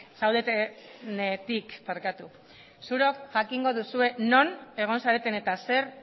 zaudetenetik zuok jakingo duzuen non egon zareten eta zer